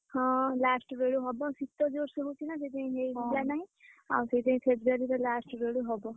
ହଁ last ବେଳକୁ ହବ, ଶୀତ ଜୋର୍ ସେ ହଉଛିନା ଆଉ ସେଇଥିପାଇଁ February last ବେଳକୁ ହବ